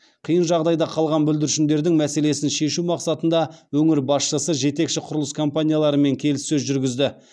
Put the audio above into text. қиын жағдайда қалған бүлдіршіндердің мәселесін шешу мақсатында өңір басшысы жетекші құрылыс компанияларымен келіссөз жүргізді